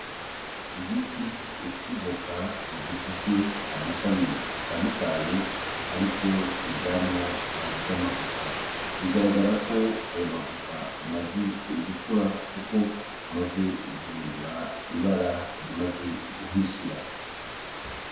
Igiti c'ivoka gifise amashami atandukanye ariko ivyamwa vya mavoka bigaragara ko ayo mavoka amaze gukura kuko amaze guhindura ibara rimaze guhishira.